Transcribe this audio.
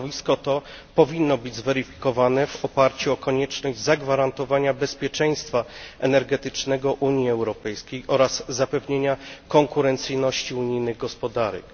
Stanowisko to powinno być zweryfikowane w oparciu o konieczność zagwarantowania bezpieczeństwa energetycznego Unii Europejskiej oraz zapewnienia konkurencyjności unijnych gospodarek.